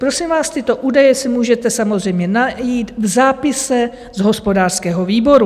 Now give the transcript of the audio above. Prosím vás, tyto údaje si můžete samozřejmě najít v zápise z hospodářského výboru.